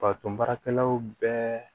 Pato marakɛlaw bɛɛ